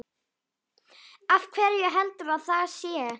Af hverju heldurðu að það sé?